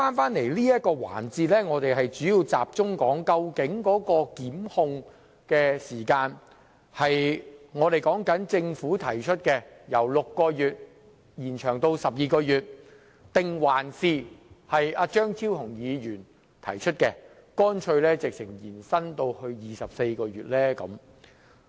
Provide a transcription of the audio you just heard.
在現時這個環節，我們主要集中討論的是究竟檢控時限應採納政府提出的建議，即由6個月延長至12個月，還是張超雄議員提出的建議，即乾脆延長至24個月。